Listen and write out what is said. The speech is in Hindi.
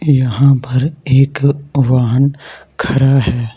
यहां पर एक वाहन खड़ा है।